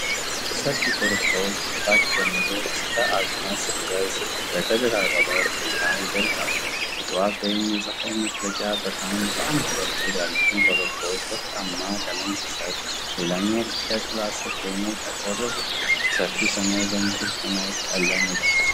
ሰፊ ኮረብታዎች ከታች ጀምሮ እስከ አድማስ ድረስ በተደራረበ ሁኔታ ይዘልቃሉ። የጠዋት ወይም የጸሃይ መጥለቂያ ብርሃን በአንድ በኩል ያሉትን ኮረብታዎች ወርቃማ ቀለም ሲሰጥ፣ ሌላኛው ክፍልጥላ ስር ሆኖ ጠቆር ብሏል። ሰፊው ሰማይ በንጹህ ሰማያዊ ቀለም የተሸፈነ ነው።